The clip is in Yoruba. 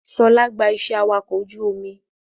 Ṣọlá gba iṣẹ́ awakọ̀ ọkọ̀ ojú omi